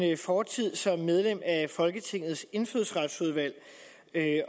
fortid som medlem af folketingets indfødsretsudvalg